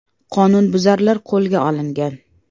Qonunbuzarlar qo‘lga olingan.